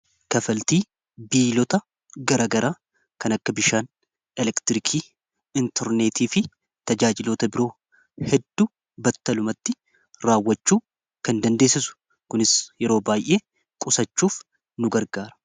kafaltii biilota garagaraa kan akka bishaan elektiriikii intorneetii fi tajaajilota biroo heddu battalumatti raawwachuu kan dandeessisu kunis yeroo baay'ee qusachuuf nu gargaara